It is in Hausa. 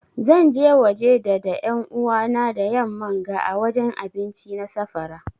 Zan je waje da da yan'uwa na da yamman ga ã wajen abinci na safara.